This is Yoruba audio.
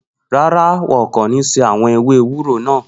No, they will not boil the bitter leaves.